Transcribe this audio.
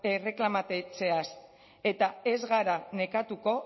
erreklamatzeaz eta ez gara nekatuko